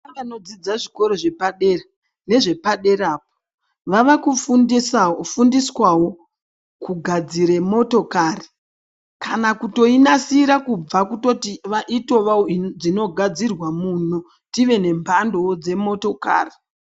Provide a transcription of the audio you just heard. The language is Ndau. Ana anodzidze zvikoro zvepadera nezvepadera po vave kufundisa fundiswawo kugadzire motokari kana kutoinasira kubva kutoti va itovawo inogadzirwa muno tive nemhandowo dzemotokari.